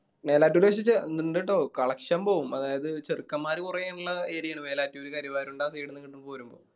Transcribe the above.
മേലാറ്റൂർ പക്ഷെ ചെ ഇണ്ടട്ടോ collection പോകും അതായത് ചെറുക്കന്മാര് കൊറേ ഇള്ള area ആണ് മേലാറ്റൂരും കരിവാരുണ്ട ആ side നിന്നും പോരും